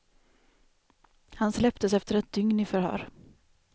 Han släpptes efter ett dygn i förhör.